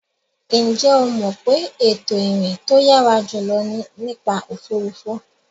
Ǹjẹ́ o mọ̀ pé ètò ìrìn tó yàrá jùlọ ni nípa òfuurufú.